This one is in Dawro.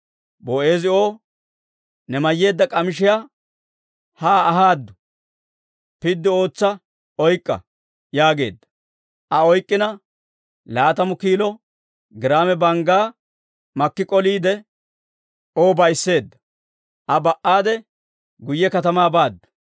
Boo'eezi O, «Ne mayyeedda k'amishiyaa haa ahaade, piddi ootsa oyk'k'a» yaageedda. Aa oyk'k'ina laatamu kiilo giraame banggaa makki k'oliide, O ba'iseedda. Aa ba"ade guyye katamaa baaddu.